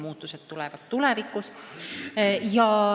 Muutused tulevad tulevikus.